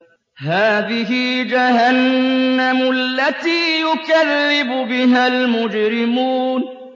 هَٰذِهِ جَهَنَّمُ الَّتِي يُكَذِّبُ بِهَا الْمُجْرِمُونَ